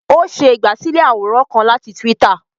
O ṣe igbasilẹ àwòrán kán láti twitter